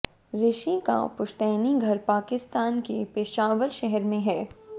ऋषि का पुश्तैनी घर पाकिस्तान के पेशावर शहर में है